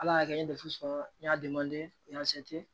Ala y'a kɛ n ye sɔrɔ n y'a